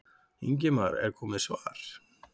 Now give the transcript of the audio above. Ingimar: Er komið svar?